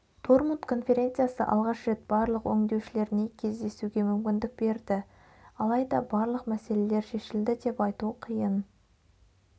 дормут конференциясы алғаш рет барлық өңдеушілеріне кездесуге мүмкіндік берді алайда барлық мәселелер шешілді деп айту қиын